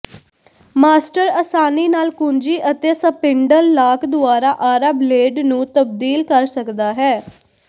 master ਆਸਾਨੀ ਨਾਲ ਕੁੰਜੀ ਅਤੇ ਸਪਿੰਡਲ ਲਾਕ ਦੁਆਰਾ ਆਰਾ ਬਲੇਡ ਨੂੰ ਤਬਦੀਲ ਕਰ ਸਕਦਾ ਹੈ